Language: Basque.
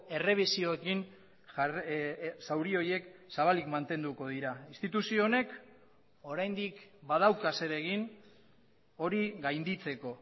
errebisioekin zauri horiek zabalik mantenduko dira instituzio honek oraindik badauka zeregin hori gainditzeko